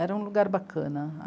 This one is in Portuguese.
Era um lugar bacana.